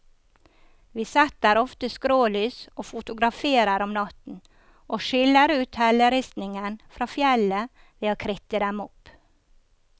Vi setter ofte skrålys og fotograferer om natten, og skiller ut helleristningen fra fjellet ved å kritte dem opp.